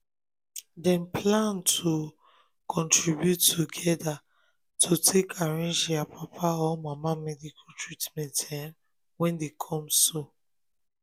dem plan to um contribute together to take arrange dia papa or mama medical treatment um wey dey come so.